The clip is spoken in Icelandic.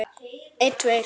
Hann reit